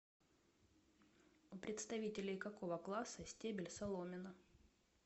у представителей какого класса стебель соломина